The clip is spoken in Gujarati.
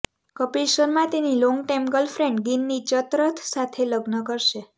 કપિલ શર્મા તેની લોંગટાઈમ ગર્લફ્રેન્ડ ગિન્ની ચતરથ સાથે લગ્ન કરશે